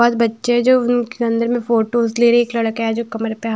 बहुत बच्चे जो उनके अंदर में फोटोस ले रहे एक लड़का है जो कमर पे हाथ--